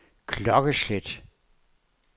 klokkeslæt